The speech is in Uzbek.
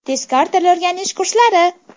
Tezkor til o‘rganish kurslari!